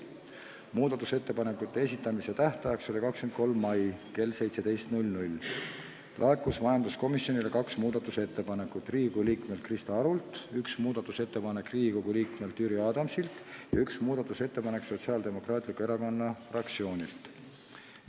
Muudatusettepanekute esitamise tähtajaks – see oli 23. mai kell 17 – laekus majanduskomisjonile kaks ettepanekut Riigikogu liikmelt Krista Arult, üks ettepanek Riigikogu liikmelt Jüri Adamsilt ja üks ettepanek Sotsiaaldemokraatliku Erakonna fraktsioonilt.